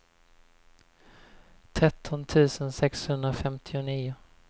tretton tusen sexhundrafemtionio